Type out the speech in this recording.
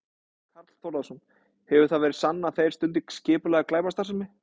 Karl Þórðarson: Hefur það verið sannað að þeir stundi skipulagða glæpastarfsemi?